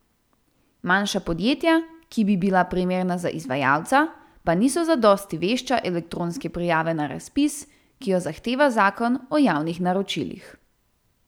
Manjša podjetja, ki bi bila primerna za izvajalca, pa niso zadosti vešča elektronske prijave na razpis, ki jo zahteva zakon o javnih naročilih.